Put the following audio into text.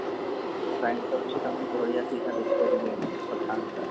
time ତ ଅଛି ତା ମାନେ ବଢିଆ ସେ ଏଇନା ଦେଖି ପାରିବି ଯାଇକି pathan ଟା